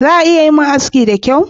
Za a iya yi min aski da kyau?